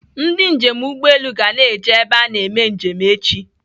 Ndị njem ụgbọelu ga na-eji ebe a eme njem echi.